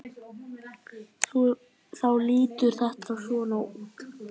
Þá lítur þetta svona út